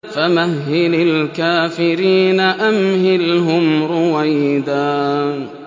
فَمَهِّلِ الْكَافِرِينَ أَمْهِلْهُمْ رُوَيْدًا